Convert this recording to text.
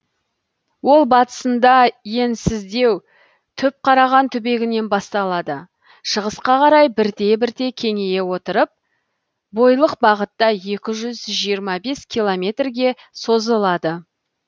ол батысында енсіздеу түпқараған түбегінен басталады шығысқа қарай бірте бірте кеңейе отырып бойлық бағытта екі жүз километрге созылады